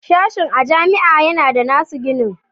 Sashen a jami'a yana da nasu ginin